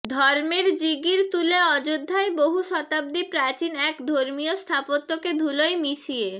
ধর্মের জিগির তুলে অযোধ্যায় বহু শতাব্দী প্রাচীন এক ধর্মীয় স্থাপত্যকে ধুলোয় মিশিয়ে